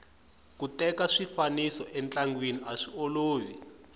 ku teka swifaniso entlangeni aswiolovi